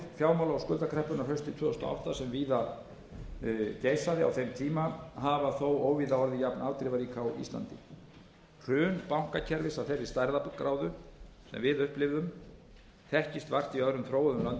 fjármála og skuldakreppunnar haustið tvö þúsund og átta sem víða geisaði á þeim tíma hafa þó óvíða orðið jafnafdrifarík og á íslandi hrun bankakerfis af þeirri stærðargráðu sem við upplifðum þekkist vart í öðrum þróuðum löndum ásamt viðlíka